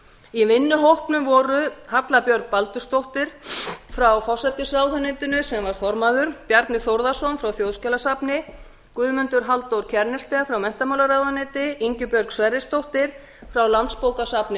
í vinnuhópnum voru halla björg baldursdóttir frá forsætisráðuneytinu formaður bjarni þórðarson frá þjóðskjalasafni guðmundur halldór kjærnested frá menntamálaráðuneyti ingibjörg sverrisdóttir frá landsbókasafni